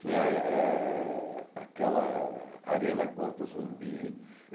Tinha ah eh aquela Arena Contra Zumbi.